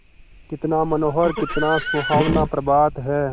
कितना मनोहर कितना सुहावना प्रभात है